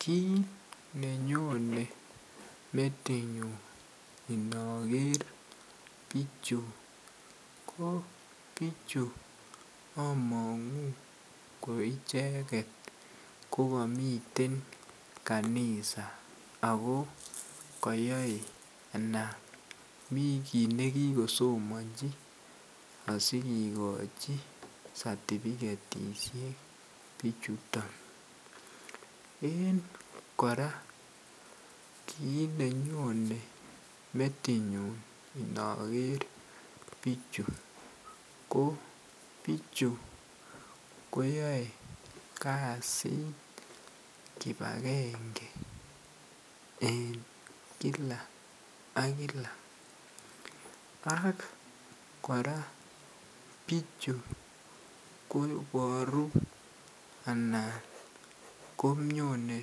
Kit nenyone metinyun inoker bichu koo bichu ko among'u ko icheket kokomiten kanisa ako kayoe anan mi kit nekikosomonjii asikikochi certificatisiek bichuton en kora kit nenyone metinyun inoker bichu, koo bichu koyoe kasit kipakenge en kila ak kila ak kora bichu koboru anan konyone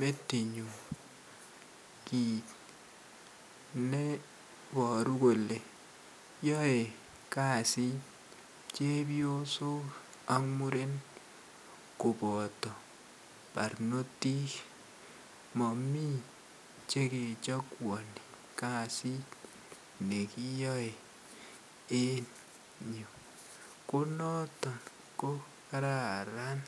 metinyun kit neiboru kole yoe kasit chepiyosok ak murenik koboto barnotik momii chekechakuani kasit nekiyoe en yu ko noton kokararan.